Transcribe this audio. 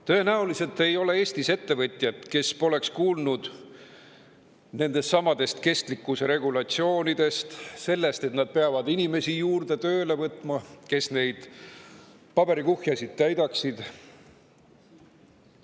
Tõenäoliselt ei ole Eestis ettevõtjat, kes poleks kuulnud nendestsamadest kestlikkuse regulatsioonidest, sellest, et nad peavad tööle võtma juurde inimesi, kes neid paberikuhjasid täidaksid.